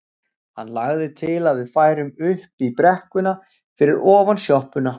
Hann lagði til að við færum upp í brekkuna fyrir ofan sjoppuna.